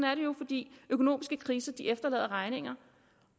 økonomiske kriser efterlader regninger